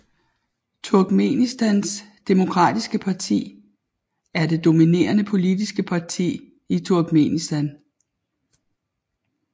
Turkmenistans demokratiske parti er det dominerende politiske parti i Turkmenistan